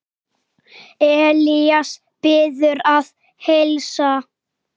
Elías biður að heilsa.